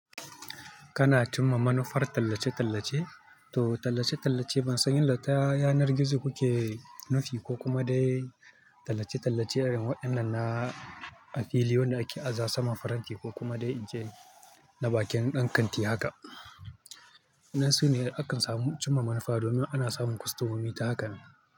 Kana cimma manufar tallace-tallace, to tallace-tallace ban san yanda ta yanar gizo kuke nufi ko kuma dai tallace-tallace irin waɗannan na a fili wanda da ake aza saman faranti ko kuma dai ince na bakin ɗan kanti haka. Nasu ne akan samu cimma manufa domin ana samun kwastomomi ta haka ne.